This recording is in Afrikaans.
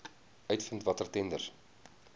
uitvind watter tenders